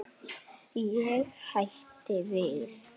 Ég hætti við.